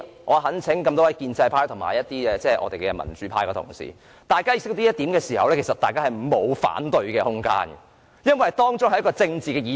我懇請各位建制派及民主派的議員了解這點，如果大家是了解的話，便沒有反對的空間，因為這涉及政治議題。